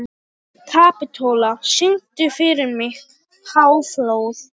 Kapitola, syngdu fyrir mig „Háflóð“.